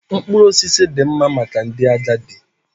Mkpụrụ osisi dị mma maka ndị agadi